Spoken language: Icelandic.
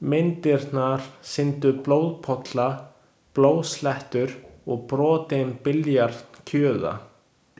Myndirnar sýndu blóðpolla, blóðslettur og brotinn billjard kjuða.